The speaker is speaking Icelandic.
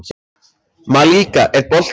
Malika, er bolti á miðvikudaginn?